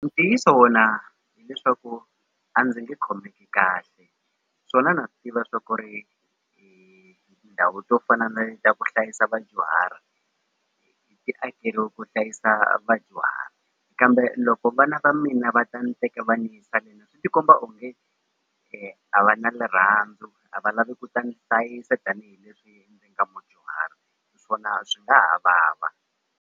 Ntiyiso wona hileswaku a ndzi nge khomeki kahle swona na swi tiva swa ku ri tindhawu to fana na le ta ku hlayisa vadyuhari ti ti akeriwe ku hlayisa vadyuhari kambe loko vana va mina va ta ndzi teka va ni yisa le swi ti komba onge a va na rirhandzu a va lavi ku ta hlayisa tanihileswi ni nga mudyuhari swona swi nga ha vava.